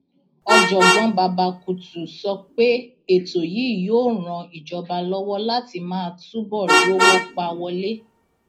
ọjọgbọn babakutu sọ pé ètò yìí yóò ran ìjọba lọwọ láti máa túbọ rówó pa wọlé